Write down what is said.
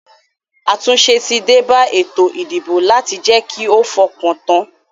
Àtúnse tí débá ètò ìdìbò láti je ki o fokan tan